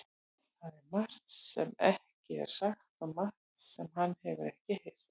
Það er margt sem ekki er sagt og margt sem hann hefur ekki heyrt.